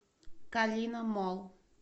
калина молл